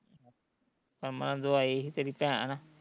ਅਮਨ ਤੋਂ ਆਈ ਸੀ ਤੇਰੀ ਭੈਣ